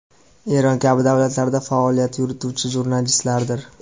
Eron kabi davlatlarda faoliyat yurituvchi jurnalistlardir.